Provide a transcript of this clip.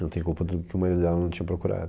Não tem culpa do que o marido dela não tinha procurado.